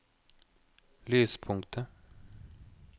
lyspunktet